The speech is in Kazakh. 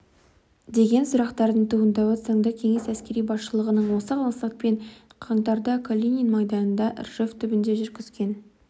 деген сұрақтардың туындауы заңды кеңес әскери басшылығының осы мақсатпен жылы қаңтарда калинин майданында ржев түбінде жүргізген